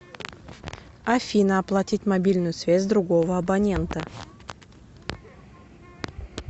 афина оплатить мобильную связь другого абонента